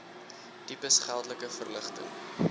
tipes geldelike verligting